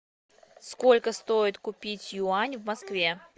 сколько стоит купить юань в москве